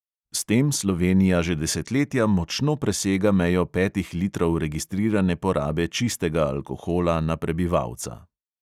S tem slovenija že desetletja močno presega mejo petih litrov registrirane porabe čistega alkohola na prebivalca.